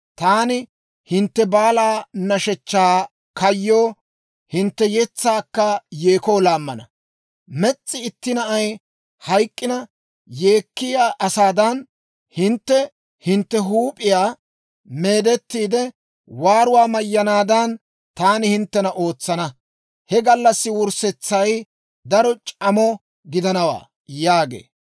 Taani hintte baalaa nashshechchaa kayyoo, hintte yetsaakka yeekoo laammana. Mes's'i itti na'ay hayk'k'ina yeekkiyaa asaadan, hintte hintte huup'iyaa meedettiide waaruwaa mayyanaadan, taani hinttena ootsana. He gallassaa wurssetsay daro c'amo gidanawaa» yaagee.